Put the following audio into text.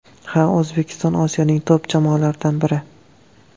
Ha, O‘zbekiston Osiyoning top jamoalaridan biri.